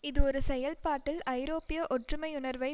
இது ஒரு செயல்பாட்டில் ஐரோப்பிய ஒற்றுமையுணர்வை